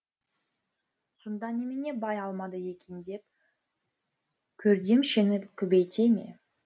сонда немене бай алмады екен деп көрдемшені көбейте ме